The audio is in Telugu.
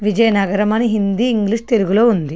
విజయనగరం అని హిందీ ఇంగ్లీష్ తెలుగు లో ఉంది.